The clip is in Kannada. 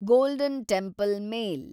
golden temple mail